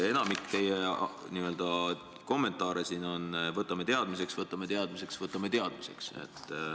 Enamik teie kommentaare siin on, et võtame teadmiseks, võtame teadmiseks, võtame teadmiseks.